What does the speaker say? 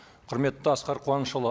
құрметті асқар қуанышұлы